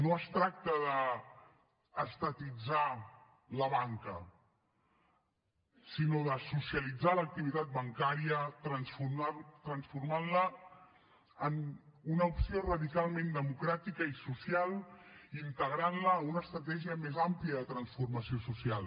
no es tracta d’estatitzar la banca sinó de socialitzar l’activitat bancària transformant la en una opció radicalment democràtica i social integrant la en una estratègia més àmplia de transformació social